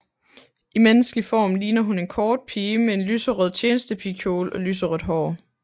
I menneskelig form ligner hun en kort pige med en lyserød tjenestepigekjole og lyserødt hår